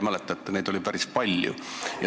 Mäletate, neid oli päris palju.